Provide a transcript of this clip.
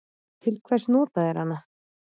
Til hvers nota þeir hana?